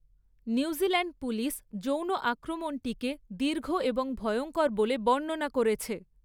New Zealand police যৌন আক্রমণটিকে 'দীর্ঘ এবং ভয়ঙ্কর' বলে বর্ণনা করেছে।